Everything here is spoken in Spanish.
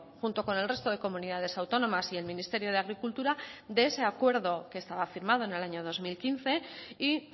junto con el resto de comunidades autónomas y el ministerio de agricultura de ese acuerdo que estaba firmado en el año dos mil quince y